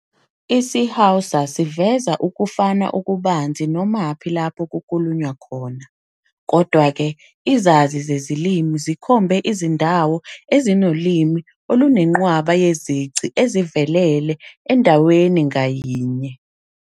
IsiHausa siveza ukufana okubanzi nomaphi lapho kukhulunywa khona. Kodwa-ke, izazi zezilimi zikhombe izindawo ezinolimi olunenqwaba yezici ezivelele endaweni ngayinye.